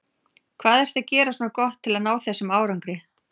Hvað ertu að gera svona gott til að ná þessum árangri?